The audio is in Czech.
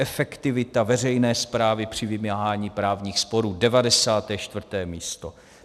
Efektivita veřejné správy při vymáhání právních sporů - 94. místo.